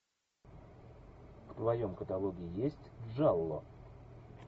в твоем каталоге есть джалло